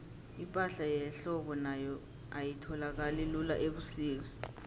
ipahla yehlobo nayo ayitholakali lula ubusika